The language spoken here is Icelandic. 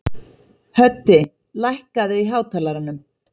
Höddi, lækkaðu í hátalaranum.